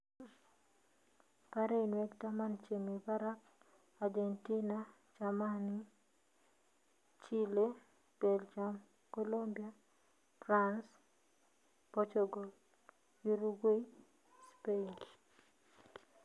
parainwek taman chemi parag argentina, chamani, Chile, Beljam, Colombia, Prans, Pochogol, Yurugwei , Spain